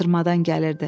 Artırmadan gəlirdi.